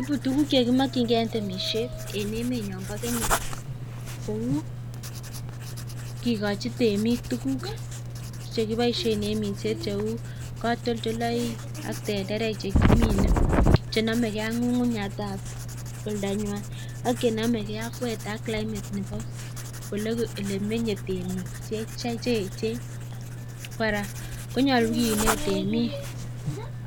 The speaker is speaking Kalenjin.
Ibu tuguk chekimokine en temisiet en emenyon bo Kenya kou kigochi temik tuguk chekiboiisien en minset cheu katoltoleiwek ak tenderek che kimine. Chenome e ak ng'ung'unyat ab oldanywan ak chenomege ak weather ak cllimate nebo ole meye tmeik che eechen. Kora konyolu kinet temik